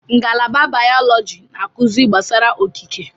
Ngalaba bayọlọji na-akụzi gbasara okike.